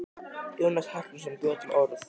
Jónas Hallgrímsson bjó til orð.